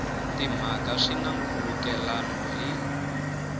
timhaka swi na nkhulukelano hi